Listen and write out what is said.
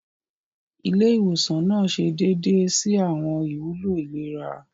Ilé ìwòsan nàá ṣe déédé si awọn ìwúlò ìlera.